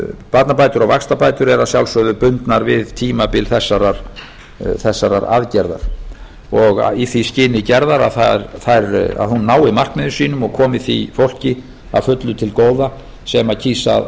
barnabætur og vaxtabætur eru að sjálfsögðu bundnar við tímabil þessarar aðgerðar og í því skyni gerðar að hún nái markmiðum sínum og komi því fólki að fullu til góða sem kýs að